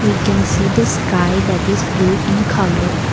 we can see the sky that is blue in colour.